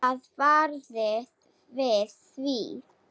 Það varð við því.